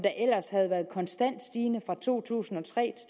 ellers havde været konstant stigende fra to tusind og tre